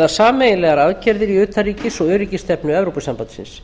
eða sameiginlegar aðgerðir í utanríkis og öryggisstefnu evrópusambandsins